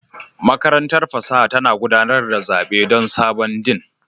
Makarantar fasaha tana gudanar da zaɓe don sabon Dean